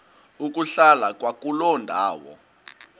ukuhlala kwakuloo ndawo